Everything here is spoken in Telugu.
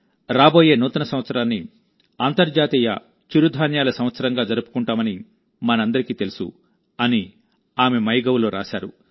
రాబోయే నూతన సంవత్సరాన్ని అంతర్జాతీయ చిరుధాన్యాల సంవత్సరంగా జరుపుకుంటామని మనందరికీ తెలుసు అని ఆమె మై గవ్ లో రాశారు